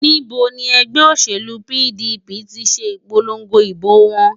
Níbo ni ẹgbẹ́ òṣèlú PDP ti ṣe ìpolongo ìbò wọn?